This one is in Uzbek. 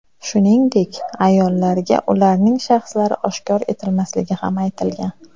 Shuningdek, ayollarga ularning shaxslari oshkor etilmasligi ham aytilgan.